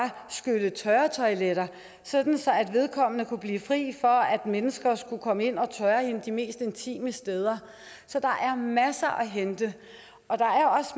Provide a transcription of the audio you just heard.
skylle tørre toiletter sådan at vedkommende kunne blive fri for at mennesker skulle komme ind og tørre hende de mest intime steder så der er masser at hente og der